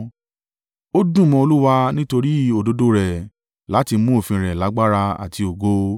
Ó dùn mọ́ Olúwa nítorí òdodo rẹ̀ láti mú òfin rẹ lágbára àti ògo.